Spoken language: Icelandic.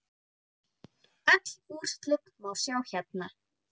Öll úrslit má sjá hérna.